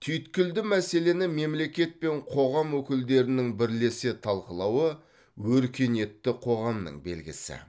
түйткілді мәселені мемлекет пен қоғам өкілдерінің бірлесе талқылауы өркениетті қоғамның белгісі